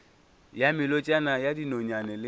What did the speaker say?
ya melotšana ya dinonyane le